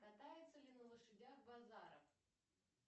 катается ли на лошадях базаров